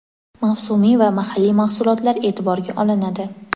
mavsumiy va mahalliy mahsulotlar eʼtiborga olinadi.